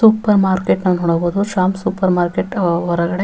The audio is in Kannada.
ಸೂಪರ್ ಮಾರ್ಕೆಟ್ ಅನ್ನು ನೋಡಬಹುದು ಶ್ಯಾಮ್ ಸೂಪರ್ ಮಾರ್ಕೆಟ್ ಹೊರಗಡೆ--